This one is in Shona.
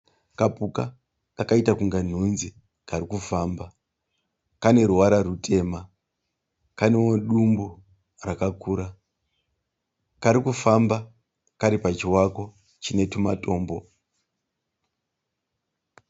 Kapuka kakaita kunge nhunzi Kari kufamba. Kane ruvara rutema kanewo dumbu rakakura. Kari kufamba kari pachivako chine tumatombo.